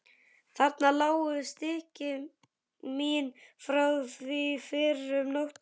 Þarna lágu stykki mín frá því fyrr um nóttina.